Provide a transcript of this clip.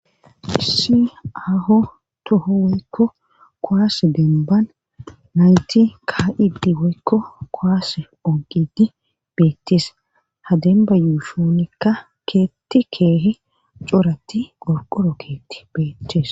issi aaho toho woykko kowaase denban nayti ka7idi woykko kowaase onqidi beettis hademba yuusshonikka keetti keehe coratti qorqoro keetti beettis.